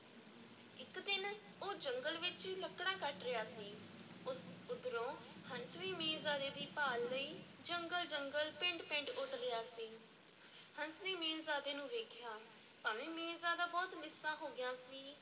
ਇੱਕ ਦਿਨ ਉਹ ਜੰਗਲ ਵਿੱਚ ਲੱਕੜਾਂ ਕੱਟ ਰਿਹਾ ਸੀ ਉ ਉੱਧਰੋਂ ਹੰਸ ਵੀ ਮੀਰਜ਼ਾਦੇ ਦੀ ਭਾਲ ਲਈ ਜੰਗਲ-ਜੰਗਲ, ਪਿੰਡ-ਪਿੰਡ ਉੱਡ ਰਿਹਾ ਸੀ, ਹੰਸ ਨੇ ਮੀਰਜ਼ਾਦੇ ਨੂੰ ਵੇਖਿਆ, ਭਾਵੇਂ ਮੀਰਜ਼ਾਦਾ ਬਹੁਤ ਲਿੱਸਾ ਹੋ ਗਿਆ ਸੀ,